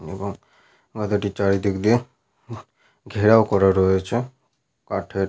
এবং গাধাটি চারিদিক দিয়ে ঘেরাও করা রয়েছে। কাঠের।